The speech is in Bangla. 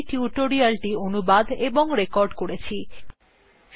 আমি অন্তরা এই টিউটোরিয়ালthe অনুবাদ এবং রেকর্ড করেছি শুভবিদায়